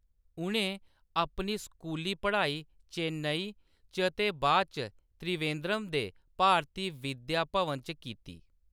उʼनें अपनी स्कूली पढ़ाई चेन्नई च ते बाद च त्रिवेंद्रम दे भारती विद्या भवन च कीती।